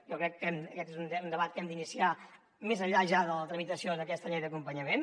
jo crec que aquest és un debat que hem d’iniciar més enllà ja de la tramitació d’aquesta llei d’acompanyament